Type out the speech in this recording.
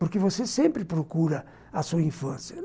Porque você sempre procura a sua infância.